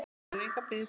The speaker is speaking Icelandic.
Það þolir enga bið.